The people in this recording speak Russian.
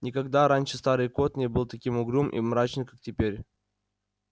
никогда раньше старый кот не был таким угрюм и мрачным как теперь